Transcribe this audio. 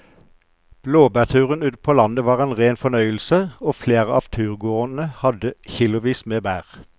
Blåbærturen ute på landet var en rein fornøyelse og flere av turgåerene hadde kilosvis med bær.